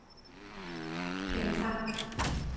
Kjeld Tang